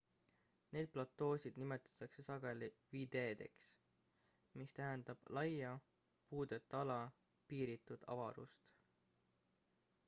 neid platoosid nimetatakse sageli viddedeks mis tähendab laia puudeta ala piiritut avarust